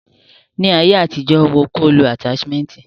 Ni ayé àtijọ́, wo ko lo ataṣimẹnti.